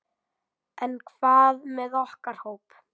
En hvað með okkar hóp?